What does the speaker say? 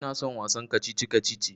Ina son wasan kacici-kacici.